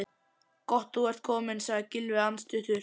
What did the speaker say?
Gott þú ert kominn sagði Gylfi andstuttur.